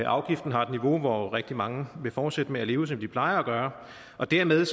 afgiften har et niveau hvor rigtig mange vil fortsætte med at leve som de plejer at gøre og dermed